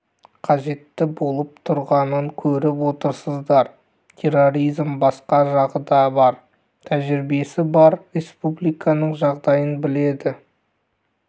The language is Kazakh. қажетті болып тұрғанын көріп отырсыздар терроризм басқа жағы да бар тәжірибесі бар республиканың жағдайын біледі